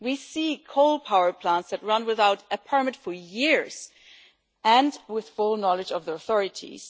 We see coal power plants that run without a permit for years and with the full knowledge of the authorities.